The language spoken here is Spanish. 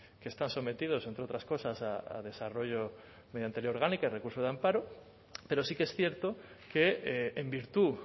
que están sometidos entre otras cosas a desarrollo mediante ley orgánica y recurso de amparo pero sí que es cierto que en virtud